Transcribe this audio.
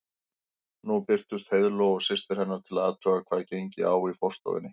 Nú birtust Heiðló og systir hennar til að athuga hvað gengi á í forstofunni.